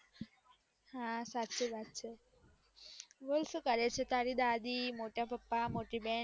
હા સાચી વાત છે બોલ સુ કરે છે તારી દાદી મોટા પપ્પા મોટી બેન